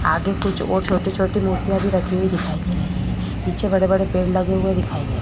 आगे कुछ और छोटी छोटी मूर्तिया भी रखी हुवी दिखाई दे रही है। पीछे बड़े बड़े पेड़ भी लगे दिखाई दे रहे है।